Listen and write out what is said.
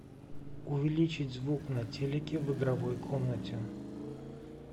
увеличить звук на телике в игровой комнате